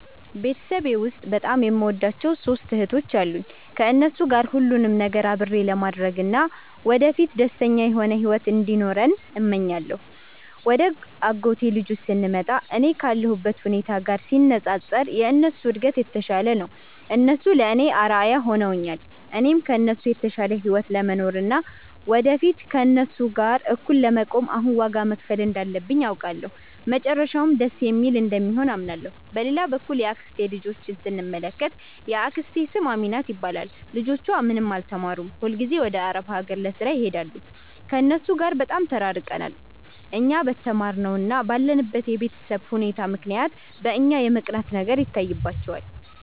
ቤተሰቤ ውስጥ በጣም የምወዳቸው ሦስት እህቶች አሉኝ። ከእነሱ ጋር ሁሉንም ነገር አብሬ ለማድረግ እና ወደፊት ደስተኛ የሆነ ሕይወት እንዲኖረን እመኛለሁ። ወደ አጎቴ ልጆች ስንመጣ፣ እኔ ካለሁበት ሁኔታ ጋር ሲነጻጸር የእነሱ እድገት የተሻለ ነው። እነሱ ለእኔ አርአያ ሆነውኛል። እኔም ከእነሱ የተሻለ ሕይወት ለመኖር እና ወደፊት ከእነሱ ጋር እኩል ለመቆም አሁን ዋጋ መክፈል እንዳለብኝ አውቃለሁ፤ መጨረሻውም ደስ የሚል እንደሚሆን አምናለሁ። በሌላ በኩል የአክስቴን ልጆች ስንመለከት፣ የአክስቴ ስም አሚናት ይባላል። ልጆቿ ምንም አልተማሩም፤ ሁልጊዜም ወደ አረብ አገር ለሥራ ይሄዳሉ። ከእነሱ ጋር በጣም ተራርቀናል። እኛ በተማርነው እና ባለንበት የቤተሰብ ሁኔታ ምክንያት እኛን የመቅናት ነገር ይታይባቸዋል